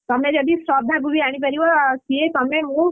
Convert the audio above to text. ତମେ ଯଦି ଶ୍ରଦ୍ଧାକୁ ବି ଆଣିପାରିବ ସିଏ ତମେ ମୁଁ,